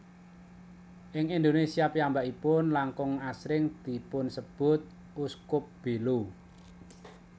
Ing Indonesia piyambakipun langkung asring dipunsebut Uskup Belo